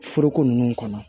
Foroko ninnu kɔnɔ